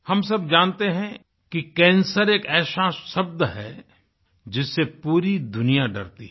हम सब जानते हैं कि कैंसर एक ऐसा शब्द है जिससे पूरी दुनिया डरती है